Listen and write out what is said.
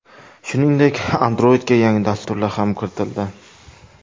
Shuningdek, Android’ga yangi dasturlar ham kiritildi.